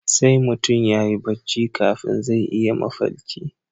Sai mutum yayi barci kafin zai yi mafalki